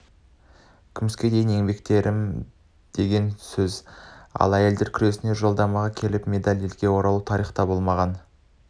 күміске дейін еңбектендім деген сөз ал әйелдер күресінен жолдамамен келіп медальмен елге оралу тарихта болмаған